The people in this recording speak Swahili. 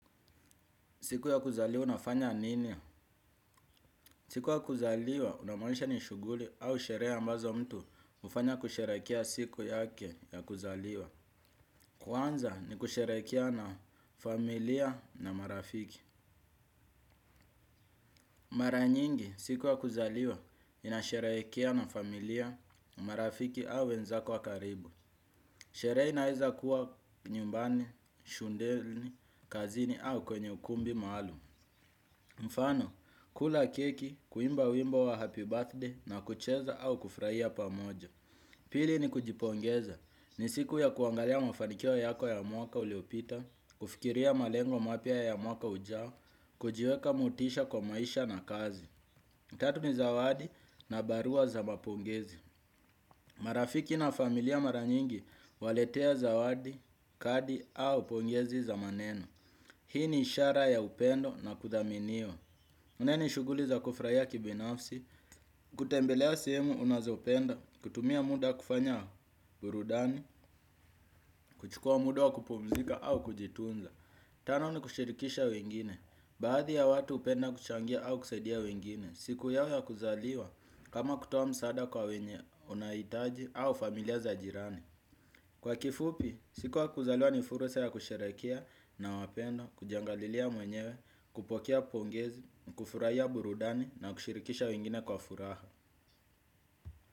Siku ya kuzaliwa unafanya nini? Siku ya kuzaliwa una maanisha ni shughuli au sherehe ambazo mtu hufanya kusherehekea siku yake ya kuzaliwa. Kwanza ni kusherehekea na familia na marafiki. Mara nyingi siku ya kuzaliwa inasherehekewa na familia na marafiki au wenzako wa karibu. Sherehe inaweza kuwa nyumbani, shuleni, kazini au kwenye ukumbi maalum. Mfano, kula keki, kuimba wimbo wa happy birthday na kucheza au kufurahia pamoja. Pili ni kujipongeza, ni siku ya kuangalia mafanikio yako ya mwaka uliopita, kufikiria malengo mapya ya mwaka ujao, kujiweka motisha kwa maisha na kazi. Tatu ni zawadi na barua za mapongezi. Marafiki na familia mara nyingi waletea zawadi, kadi au pongezi za maneno. Hii ni ishara ya upendo na kudhaminiwa. Nne shughuli za kufurahia kibinafsi, kutembelea sehemu unazopenda, kutumia muda kufanya burudani, kuchukua muda wa kupumzika au kujitunza. Tano ni kushirikisha wengine, baadhi ya watu hupenda kuchangia au kusaidia wengine, siku yao ya kuzaliwa kama kutoa msaada kwa wenye wanahitaji au familia za jirani. Kwa kifupi, siku ya kuzaliwa ni furusa ya kusherehekea na wapendwa, kujiangalilia mwenyewe, kupokea pongezi, kufurahia burudani na kushirikisha wengine kwa furaha.